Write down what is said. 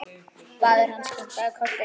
Faðir hans kinkaði kolli.